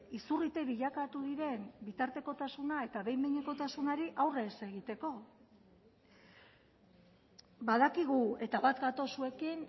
izurrite bilakatu diren bitartekotasuna eta behin behinekotasunari aurre ez egiteko badakigu eta bat gatoz zuekin